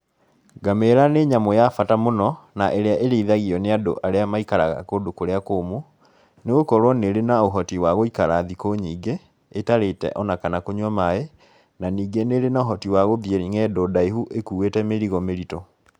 Ngamĩra nĩ nyamũ ya bata mũno, na ĩrĩa ĩrĩithagio nĩ andũ arĩa maikaraga kũndũ kũrĩa kũũmu, nĩ gũkũrwo nĩ ĩrĩ na ũhoti wa gũikara thikũ nyingĩ, ĩtarĩte ona kana kũnyua maaĩ, na ningĩ nĩ ĩrĩ na ũhoti wa gũthiĩ ng'endo ndaihu, ĩkuĩte mĩrigo mĩritũ.